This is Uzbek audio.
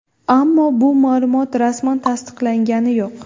Ammo bu ma’lumot rasman tasdiqlangani yo‘q.